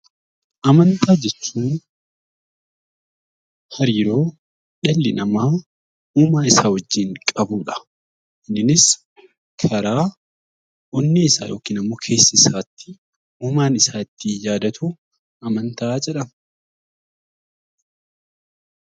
Amantaa jechuun hariiroo dhalli namaa uumaa isaa wajjin qabudha. Innis karaa onnee isaa yookiin immoo keessa isaatti uumaa isaa ittiin yaadatu amantaa jedhama.